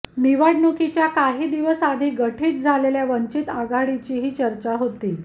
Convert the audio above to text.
निवडणुकीच्या काही दिवस आधी गठीत झालेल्या वंचित आघाडीचीही चर्चा होती